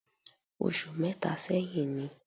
Oṣù mẹ́ta sẹ́yìn ni